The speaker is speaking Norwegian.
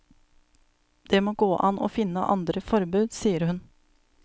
Det må gå an å finne andre forbud, sier hun.